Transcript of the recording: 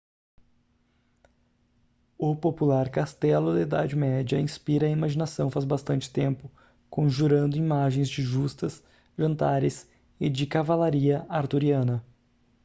o popular castelo da idade média inspira a imaginação faz bastante tempo conjurando imagens de justas jantares e de cavalaria arturiana